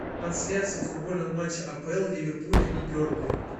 трансляция футбольного матча апл ливерпуля и бернли